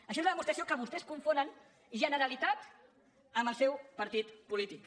això és la demostració que vostès confonen generalitat amb el seu partit polític